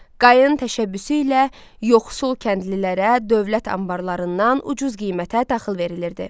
Qayın təşəbbüsü ilə yoxsul kəndlilərə dövlət anbarlarından ucuz qiymətə taxıl verilirdi.